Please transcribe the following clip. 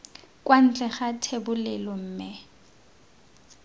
kwa ntle ga thebolelo mme